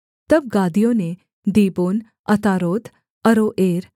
तब गादियों ने दीबोन अतारोत अरोएर